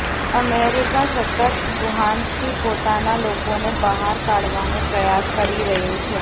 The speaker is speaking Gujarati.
અમેરિકા સતત વુહાનથી પોતાના લોકોને બહાર કાઢવાનો પ્રયાસ કરી રહ્યું છે